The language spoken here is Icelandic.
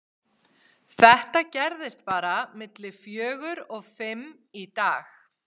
Þetta gerðist bara milli fjögur og fimm í dag.